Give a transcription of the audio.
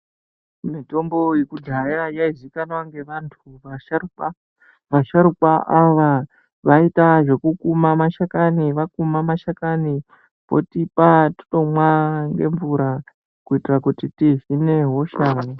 Mitombo yekudhaya yaizikanwa ngevantu vasharukwa, vasharukwa ava vaiita zvekukuma mashakani vakuma mashakani votipa totomwa nemvura kuitira kuti tidzinge hosha.